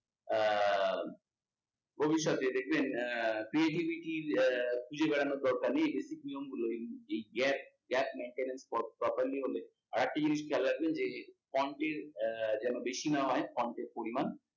আহ ভবিষ্যতে দেখবেন uh creativity uh খুঁজে বেড়ানোর দরকার নেই, এই basic নিয়মগুলো এই gap gap maintainance আরেকটা জিনিস খেয়াল রাখবেন যে এর যেন বেই না হয় এর পরিমান